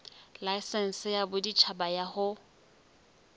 laesense ya boditjhaba ya ho